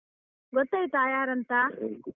ಗೊತ್ತಾಯ್ತಾ ಯಾರಂತ?